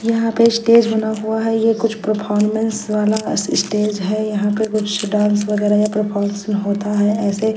यहाँ पे स्टेज बना हुआ है ये कुछ प्रोफार्मेंस वाला अस स्टेज है यहाँ पर कुछ डांस वगेरा या प्रोफार्मेंस होता है ऐसे--